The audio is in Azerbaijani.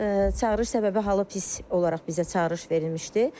Çağırış səbəbi halı pis olaraq bizə çağırış verilmişdi.